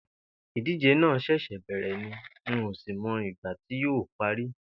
Ìdíje náà s̩è̩s̩è̩ bè̩rè̩ ni n ò sì mo̩ ìgbà tí yóò parí